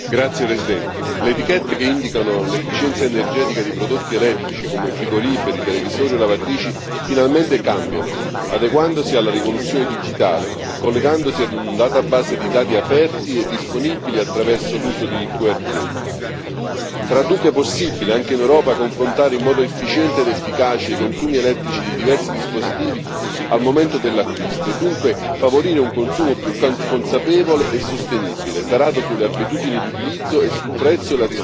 Signor Presidente, onorevoli colleghi, le etichette che indicano l'efficienza energetica di prodotti elettrici come frigoriferi, televisori e lavatrici finalmente cambiano, adeguandosi alla rivoluzione digitale, collegandosi ad un database di dati aperti e disponibili attraverso l'uso di QR Code. Sarà dunque possibile, anche in Europa, confrontare in modo efficiente ed efficace i consumi elettrici di diversi dispositivi al momento dell'acquisto e dunque favorire un consumo più consapevole e sostenibile, tarato sulle abitudini di utilizzo e sul